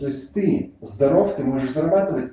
то есть ты здоров ты можешь зарабатывать